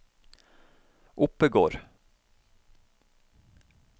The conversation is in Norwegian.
Oppegård